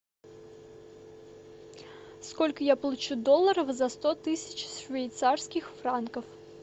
сколько я получу долларов за сто тысяч швейцарских франков